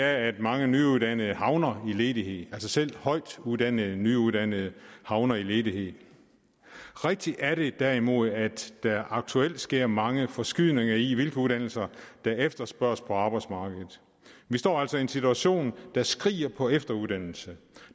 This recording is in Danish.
at mange nyuddannede havner i ledighed selv højtuddannede nyuddannede havner i ledighed rigtigt er det derimod at der aktuelt sker mange forskydninger i hvilke uddannelser der efterspørges på arbejdsmarkedet vi står altså i en situation der skriger på efteruddannelse